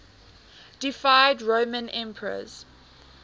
deified roman emperors